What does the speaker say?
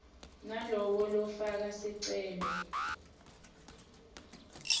lowo lofaka sicelo